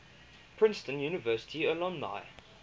princeton university alumni